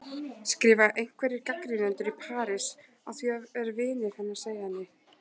skrifa einhverjir gagnrýnendur í París, að því er vinir hennar segja henni.